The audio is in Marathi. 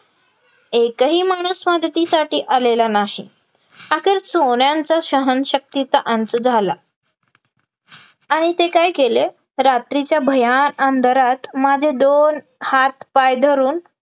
एकही माणूस मदतीसाठी आलेला नाही, अखेर चोरांच्या सहनशक्तीचा अंत झाला, आणि ते काय केले ते रात्रीच्या भयाण अंधारात माझे दोन्ही हात-पाय धरून